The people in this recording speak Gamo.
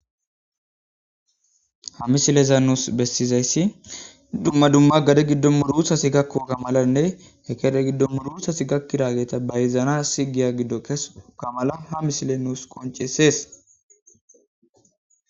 ha mishileza nuus bessizayssi dumma dumma gade giddo muruthasi gakko kamalanne hekede giddo muruthasi gakkidageta bayzana sigiya giddo kesu kamala ha mishile nuus qoncesees